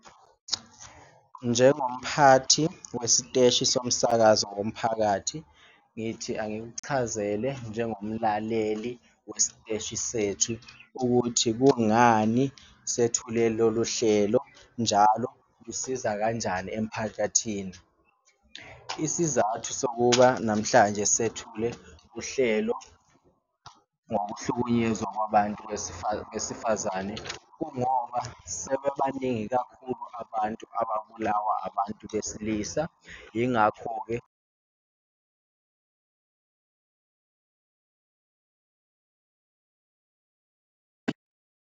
Njengomphathi wesiteshi somsakazo womphakathi ngithi angikuchazele njengomlaleli wesiteshi sethu ukuthi kungani sethule lolu hlelo, njalo lusiza kanjani emphakathini. Isizathu sokuba namhlanje sethule uhlelo ngokuhlukunyezwa kwabantu besifazane, kungoba sebebaningi kakhulu abantu ababulawa abantu besilisa ingakho-ke.